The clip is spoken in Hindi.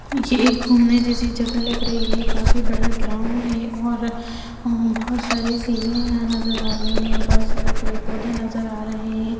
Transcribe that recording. ये एक घूमने जैसी जगह लग रही है काफी बड़ा ग्राउंड है और वहां बहुत सारी सीढ़िया यहां नजर आ रही है बहुत सारे पेड़ पौधे नजर आ रहे है।